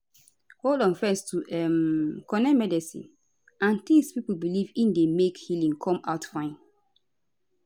hold on fezz to um connect medicine and tings pipo belief in dey make healing come out fine